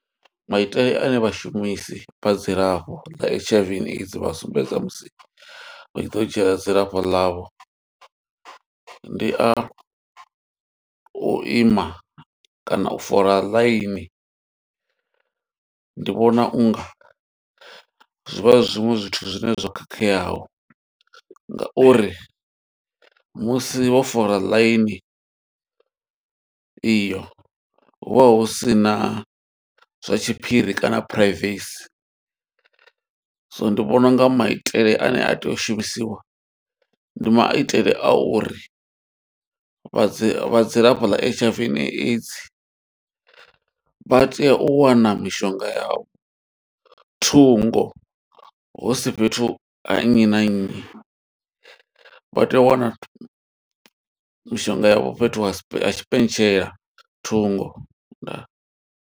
Maitele ane vhashumisi vha dzilafho ḽa H_I_V and AIDS vha sumbedza musi vha tshi ḓo dzhia dzilafho ḽavho. Ndi a u ima kana u fola ḽaini, ndi vhona unga zwi vha zwiṅwe zwithu zwine zwo khakheaho nga uri musi wo fola ḽaini iyo, hu vha hu sina zwa tshiphiri kana phuraivesi. So ndi vhona unga maitele ane a tea u shumisiwa, ndi maitele a uri vhadzi vha dzilafho ḽa H_I_V and AIDS vha tea u wana mishonga yavho thungo. Husi fhethu ha nnyi na nnyi, vha tea u wana mishonga yavho fhethu ha tshipentshela thungo. Ndaa.